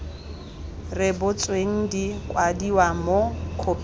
rebotsweng di kwadiwa mo khophing